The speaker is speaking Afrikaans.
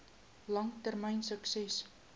lang termyn sukses